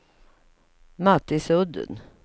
Mattisudden